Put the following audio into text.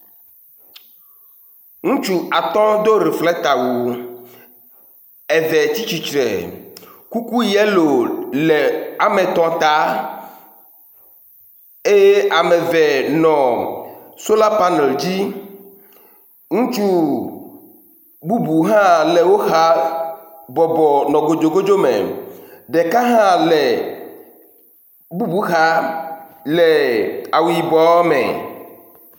ŋutsu atɔ dó riflekta wu eve tsítsistre kuku yelo le ametɔ̃ ta eye ameve nɔ sola panel dzi ŋutsu bubu hã le wó xa le kodzokodzó me ɖeka hã le bubu xa le awu yibɔ me